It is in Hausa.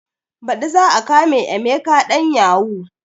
Baɗi za a kama emeka ɗan yahu